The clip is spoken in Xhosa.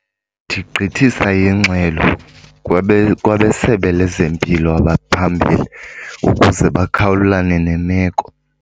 Ndigqithisa ingxelo kwabeSebe lezeMpilo abaphambili ukuze bakhawulelane nemeko.